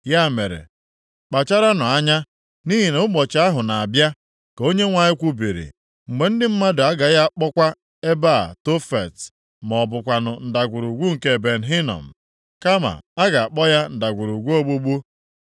Ya mere, kpacharanụ anya, nʼihi na ụbọchị ahụ na-abịa, ka Onyenwe anyị kwubiri, mgbe ndị mmadụ agaghị akpọkwa ebe a Tofet ma ọ bụkwanụ Ndagwurugwu nke Ben Hinom, kama a ga-akpọ ya Ndagwurugwu Ogbugbu.